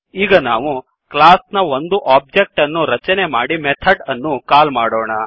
ಈಗ ನಾವು ಕ್ಲಾಸ್ ನ ಒಂದು ಒಬ್ಜೆಕ್ಟ್ ಅನ್ನು ರಚನೆ ಮಾಡಿ ಮೆಥಡ್ ಅನ್ನು ಕಾಲ್ ಮಾಡೋಣ